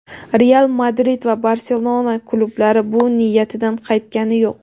"Real Madrid" va "Barselona" klublari bu niyatidan qaytgani yo‘q.